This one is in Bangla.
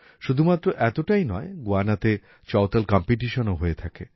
শুধুমাত্র এতোটাই নয় গুয়ানাতে চওতাল কম্পিটিশনও হয়ে থাকে